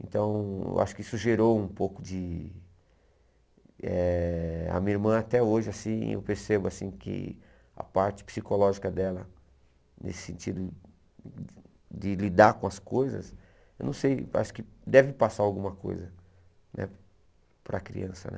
Então, eu acho que isso gerou um pouco de eh... A minha irmã até hoje assim, eu percebo assim que a parte psicológica dela, nesse sentido de lidar com as coisas, eu não sei, acho que deve passar alguma coisa né para a criança, né?